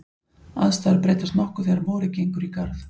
Aðstæður breytast nokkuð þegar vorið gengur í garð.